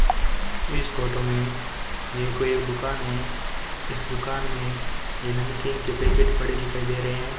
इस फोटो में ये कोई दुकान है इस दुकान में ये नमकीन के पैकेट पड़े दिखाई दे रहे हैं।